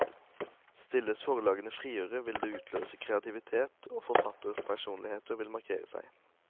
Stilles forlagene friere, vil det utløse kreativitet, og forfatterpersonligheter vil markere seg.